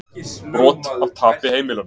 Brot af tapi heimilanna